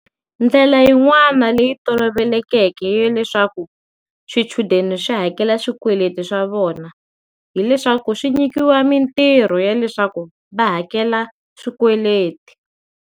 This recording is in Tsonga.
Ndlela yin'wana leyi tolovelekeke ya leswaku swichudeni swi hakela swikweleti swa vona hileswaku swi nyikiwa mintirho ya leswaku va hakela swikweleti.